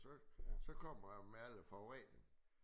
Så så kommer der meget forurening